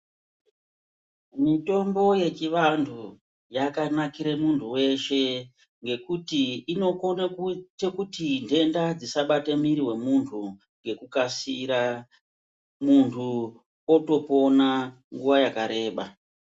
Mitombo yechivantu yakanakire muntu weshee ngekuti inokone kuite kuti ntenda dzisabate miri wemuntu ngekukasira, munthu otopona nguwa yakareba.